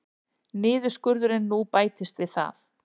Niðurskurðurinn nú bætist við það